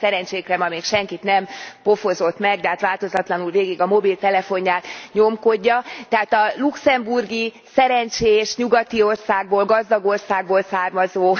Szerencsénkre ma még senkit nem pofozott meg, dehát változatlanul végig a mobiltelefonját nyomkodja, tehát a luxemburgi szerencsés nyugati országból, gazdag országból származó